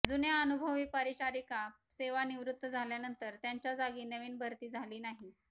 जुन्या अनुभवी परिचारिका सेवानिवृत्त झाल्यानंतर त्यांच्याजागी नवीन भरती झाली नाही